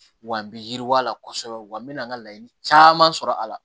Wa n bɛ yiriwa la kosɛbɛ wa n mɛna n ka laɲini caman sɔrɔ a la